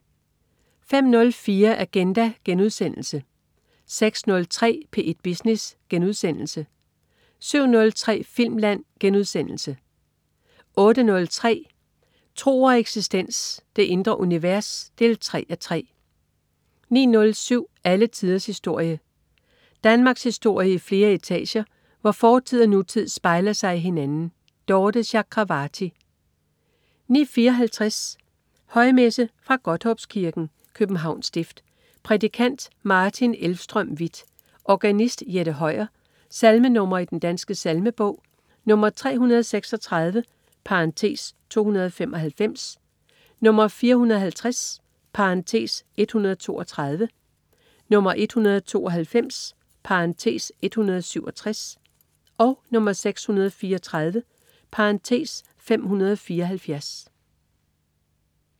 05.04 Agenda* 06.03 P1 Business* 07.03 Filmland* 08.03 Tro og eksistens. Det indre univers 3:3 09.07 Alle tiders historie. Danmarkshistorie i flere etager, hvor fortid og nutid spejler sig i hinanden. Dorthe Chakravarty 09.54 Højmesse. Fra Godthåbskirken, Københavns Stift. Prædikant: Martin Elvstrøm Vieth. Organist: Jette Høyer. Salmenr. i Den Danske Salmebog: 336 (295), 450 (132), 192 (167), 634 (574)